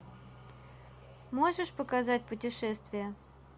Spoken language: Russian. можешь показать путешествия